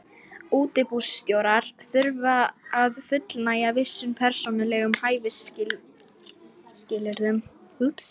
Útibússtjórar þurfa að fullnægja vissum persónulegum hæfisskilyrðum.